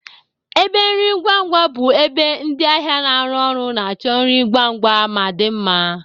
Ebe nri ngwa ngwa bụ ebe ndị ahịa na-arụ ọrụ na-achọ nri ngwa ngwa ma dị mma.